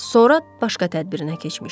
Sonra başqa tədbirinə keçmişdi.